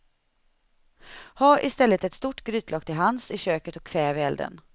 Ha i stället ett stort grytlock tillhands i köket och kväv elden.